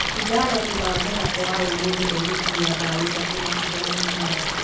Ighalo thutha wa mũthako wa ũmũthĩ agũkinyia mbaũ ithatũ macindano-inĩ maya